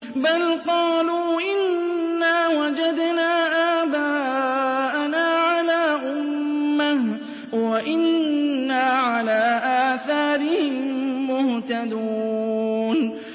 بَلْ قَالُوا إِنَّا وَجَدْنَا آبَاءَنَا عَلَىٰ أُمَّةٍ وَإِنَّا عَلَىٰ آثَارِهِم مُّهْتَدُونَ